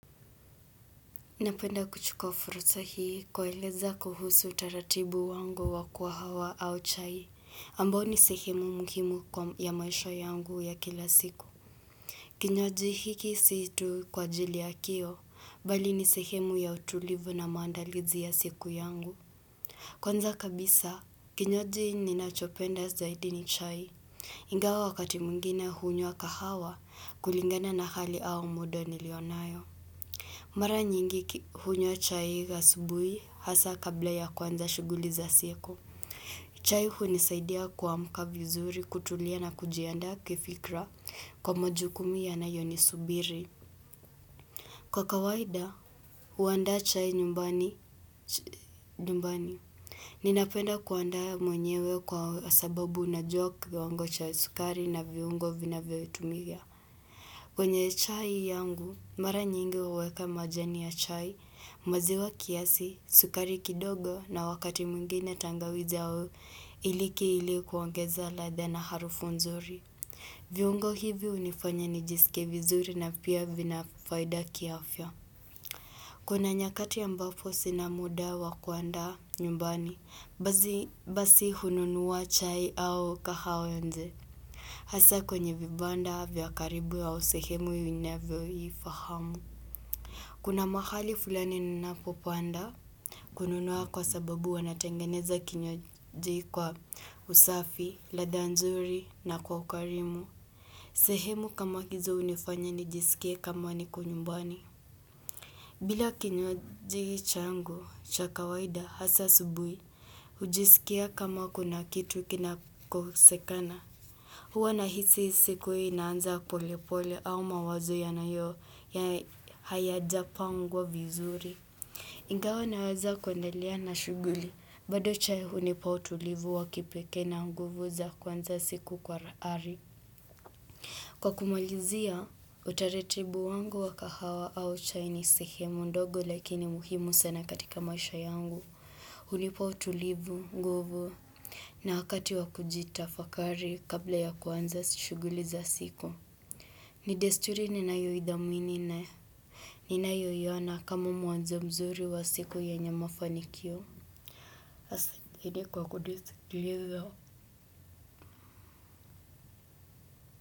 Napenda kuchukua furusa hii kuwaeleza kuhusu taratibu wangu wa kahawa au chai, ambao ni sehemu muhimu ya maisha yangu ya kila siku. Kinywaji hiki siyo tu kwa ajili ya kiu, bali ni sehemu ya utulivu na maandalizi ya siku yangu. Kwanza kabisa, kinywaji ni nachopenda zaidi ni chai. Ingawa wakati mwingina hunyua kahawa, kulingana na hali au muda niliyo nayo. Mara nyingi hunywa chai asubuhi hasa kabla ya kwanza shughuli za siku. Chai hunisaidia kuamka vizuri kutulia na kujiandaa kifikra kwa majukumu yanayo nisubiri. Kwa kawaida, huandaa chai nyumbani. Ninapenda kuandaa mwenyewe kwa sababu ninajua kiwango cha sukari na viungo vinavyo tumia. Kwenye chai yangu, mara nyingi huweka majani ya chai, maziwa kiasi, sukari kidogo na wakati mwngine tangawizi au iliki ili kuongeza ladha na harufu nzuri. Viungo hivi hunifanya nijisike vizuri na pia vinafaida kiafya. Kuna nyakati ambapo sina muda wakuandaa nyumbani, basi hununuwa chai au kahawe nje. Hasa kwenye vibanda vya karibu au sehemu ninayo ifahamu. Kuna mahali fulani ninapopaenda kununua kwa sababu wanatengeneza kinywaji kwa usafi, ladha nzuri na kwa ukarimu. Sehemu kama hizo hunifanya nijisikie kama niko nyumbani. Bila kinywaji changu, cha kawaida hasa asubuhi, hujisikia kama kuna kitu kinakosekana. Huwa na hisi siku hii inaanza pole pole au mawazo ya nayo hayajapangwa vizuri. Ingawa naweza kuendelea na shughuli, bado chai hunipa utulivu wa kipekee na nguvu za kuanza siku kwa ari. Kwa kumalizia, utaratibu wangu wa kahawa au chai ni sehemu ndogo lakini muhimu sana katika maisha yangu. Hunipa utulivu, nguvu, na wakati wa kujitafakari kabla ya kuanza shughuli za siku. Ni desturi ni na yo idhamini na. Ninayo iona kama mwanzo mzuri wa siku yenye mafanikio. Asante kwa kunisikiliza.